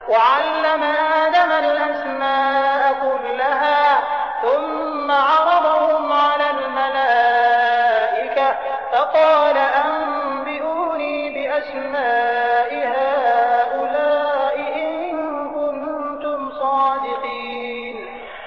وَعَلَّمَ آدَمَ الْأَسْمَاءَ كُلَّهَا ثُمَّ عَرَضَهُمْ عَلَى الْمَلَائِكَةِ فَقَالَ أَنبِئُونِي بِأَسْمَاءِ هَٰؤُلَاءِ إِن كُنتُمْ صَادِقِينَ